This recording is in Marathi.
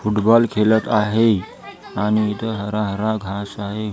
फुटबॉल खेलत आहे आणि इथं हरा हरा घास आहे.